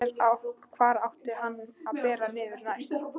Hvar átti hann að bera niður næst?